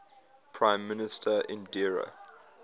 prime minister indira